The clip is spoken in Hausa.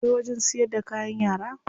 Akwai wajen siyar da kayan yara.